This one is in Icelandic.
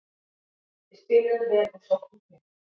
Við spiluðum vel og sóttum grimmt